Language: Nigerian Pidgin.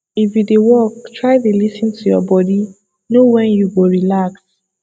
if you dey work try dey lis ten to your body know wen you go relax